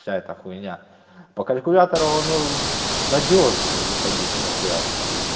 вся эта хуйня по калькулятору оно надёжней выходить на связь